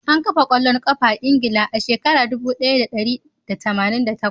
An kafa kwallon kafa a Ingila a shekarar dubu daya da dari da tamanin da takwas.